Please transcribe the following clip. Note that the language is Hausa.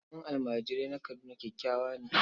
Gidan almajirai na Kaduna kyakkyawa ne.